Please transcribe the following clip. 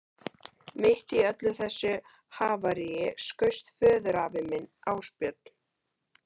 Mitt í öllu þessu havaríi skaust föðurafi minn, Ásbjörn